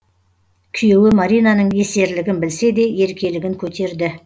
күйеуі маринаның есерлігін білсе де еркелігін көтерді